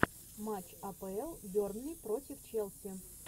матч апл бернли против челси